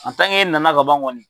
e nana ka ban kɔni.